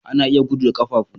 Ana iya gudu da ƙafafu.